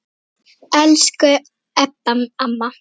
Elsku Ebba amma.